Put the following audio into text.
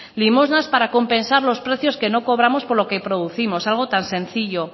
limosnas para compensar los precios que no cobramos por lo que producimos algo tan sencillo